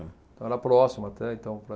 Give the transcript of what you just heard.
Então era próximo até, então para